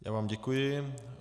Já vám děkuji.